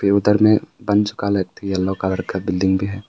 उधर में yellow colour का बिल्डिंग भी है।